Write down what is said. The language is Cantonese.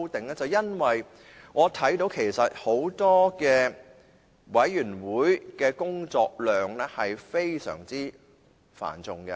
便是因為我看見很多委員會的工作量是非常繁重的。